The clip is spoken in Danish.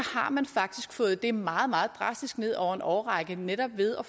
har man faktisk fået det meget meget drastisk ned over en årrække netop ved at